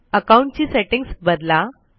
account ची settings बदला